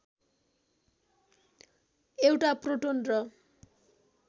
एउटा प्रोटोन र